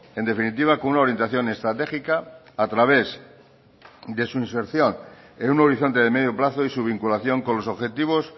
en definitiva con una orientación estratégica a través de su inserción en un horizonte de medio plazo y su vinculación con los objetivos